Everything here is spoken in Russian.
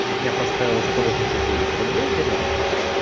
я поставила сто восемьдесят девять рублей для начала